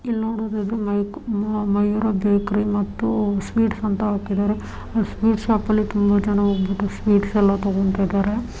ಇಲ್ಲಿ ನೋಡಿದ್ರೆ ಇದು ಮೈಕ್ ಮಾಯೂರ ಬೇಕರಿ ಮತ್ತು ಸ್ವೀಟ್ಸ್ ಅಂತ ಹಾಕಿದರೆ ಸ್ವೀಟ್ಸ್ ಶಾಪಲ್ಲಿ ತುಂಬಾ ಜನ ಹೋಗ್ಬಿಟ್ಟು ಸ್ವೀಟ್ಸೆ ಎಲ್ಲ ತಗೋತಾ ಇದ್ದಾರೆ.